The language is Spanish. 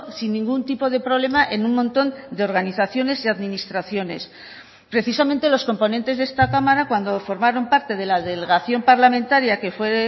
sin ningún tipo de problema en un montón de organizaciones y administraciones precisamente los componentes de esta cámara cuando formaron parte de la delegación parlamentaria que fue